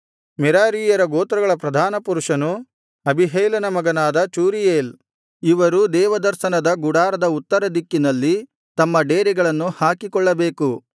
ಮೆರಾರೀಯರ ಗೋತ್ರಗಳ ಪ್ರಧಾನಪುರುಷನು ಅಬೀಹೈಲನ ಮಗನಾದ ಚೂರೀಯೇಲ್ ಇವರು ದೇವದರ್ಶನದ ಗುಡಾರದ ಉತ್ತರ ದಿಕ್ಕಿನಲ್ಲಿ ತಮ್ಮ ಡೇರೆಗಳನ್ನು ಹಾಕಿಕೊಳ್ಳಬೇಕು